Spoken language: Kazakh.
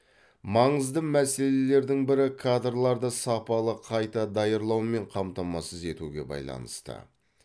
маңызды мәселелердің бірі кадрларды сапалы қайта даярлаумен қамтамасыз етуге байланысты